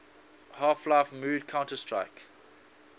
half life mod counter strike